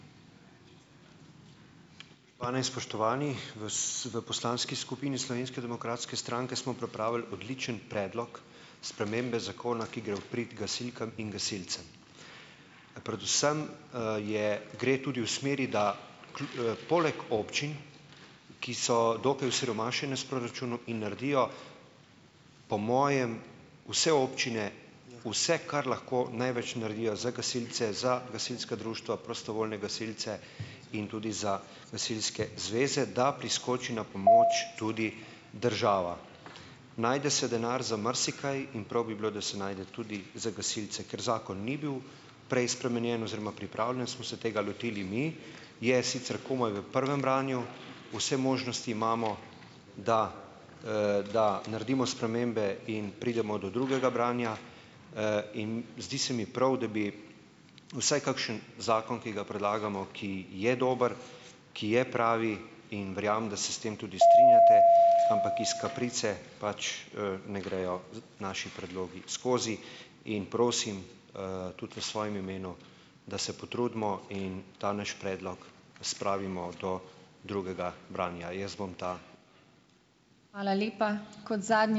Spoštovane in spoštovani! V s, v poslanski skupini Slovenske demokratske stranke smo pripravili odličen predlog spremembe zakona, ki gre v prid gasilkam in gasilcem. Predvsem, je, gre tudi v smeri, da poleg občin, ki so dokaj osiromašene s proračunom in naredijo po mojem vse občine vse, kar lahko največ naredijo za gasilce, za gasilska društva, prostovoljne gasilce in tudi za gasilske zveze, da priskoči na pomoč tudi država. Najde se denar za marsikaj in prav bi bilo, da se najde tudi za gasilce, ker zakon ni bil prej spremenjen oziroma pripravljen, smo se tega lotili mi, je sicer komaj v prvem branju, vse možnosti imamo, da, da naredimo spremembe in pridemo do drugega branja, in zdi se mi prav, da bi vsaj kakšen zakon, ki ga predlagamo, ki je dober, ki je pravi, in verjamem, da se s tem tudi strinjate, ampak iz kaprice pač, ne grejo z naši predlogi skozi in prosim, tudi v svojem imenu, da se potrudimo in ta naš predlog spravimo do drugega branja. Jaz bom ta ...